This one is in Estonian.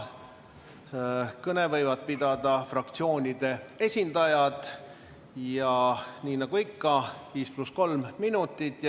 Kõne võivad pidada fraktsioonide esindajad, nii nagu ikka 5 + 3 minutit.